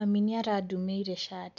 Mami nĩ arandumĩire cati.